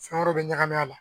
Fɛn wɛrɛw bɛ ɲagami a la